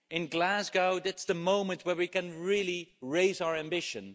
In Glasgow, that's the moment where we can really raise our ambition.